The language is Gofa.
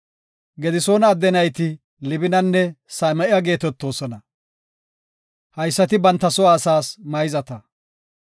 Gedisoona adde nayti Libinanne Same7a geetetoosona. Haysati banta soo asaas mayzata.